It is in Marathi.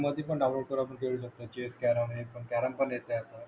मोबाईल मध्ये पण डाऊनलोड करायचं चेस कॅरम हे ते कॅरम पण येते आता